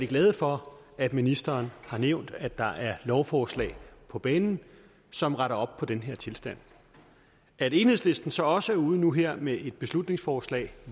glade for at ministeren har nævnt at der er et lovforslag på banen som retter op på den her tilstand at enhedslisten så også er ude nu her med et beslutningsforslag